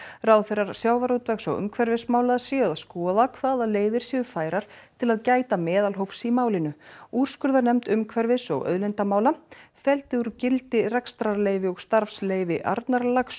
ráðherrar sjávarútvegs og umhverfismála séu að skoða hvaða leiðir séu færar til að gæta meðalhófs í málinu úrskurðarnefnd umhverfis og auðlindamála felldi úr gildi rekstrarleyfi og starfsleyfi Arnarlax